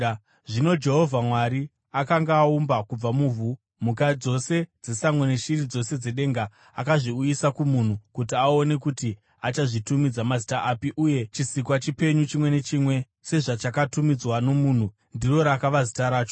Zvino Jehovha Mwari akanga aumba kubva muvhu, mhuka dzose dzesango neshiri dzose dzedenga. Akazviuyisa kumunhu kuti aone kuti achazvitumidza mazita api, uye chisikwa chipenyu chimwe nechimwe sezvachakatumidzwa nomunhu, ndiro rakava zita racho.